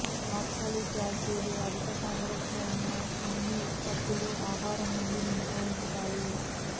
oxalic acid అధిక సాంద్రత ఉన్న అన్ని ఉత్పత్తులు ఆహారం నుండి మినహాయించాలి